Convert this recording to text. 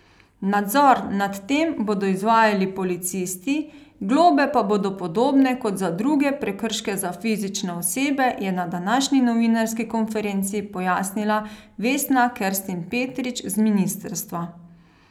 Nadzor nad tem bodo izvajali policisti, globe pa bodo podobne kot za druge prekrške za fizične osebe, je na današnji novinarski konferenci pojasnila Vesna Kerstin Petrič z ministrstva.